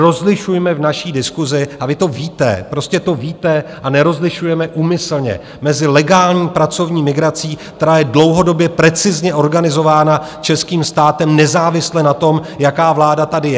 Rozlišujme v naší diskusi - a vy to víte, prostě to víte a nerozlišujete úmyslně - mezi legální pracovní migrací, která je dlouhodobě precizně organizována českým státem nezávisle na tom, jaká vláda tady je.